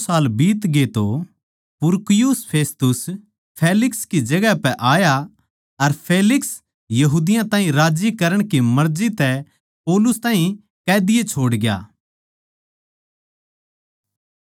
पर जिब दो साल बीतगे तो पुरकियुस फेस्तुस फेलिक्स की जगहां पै आया अर फेलिक्स यहूदियाँ ताहीं राज्जी करण की मर्जी तै पौलुस ताहीं कैदी ए छोड़ग्या